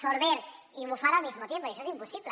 sorber y bufar al mismo tiempo i això és impossible